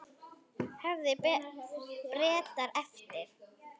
Höfðu Bretar eftir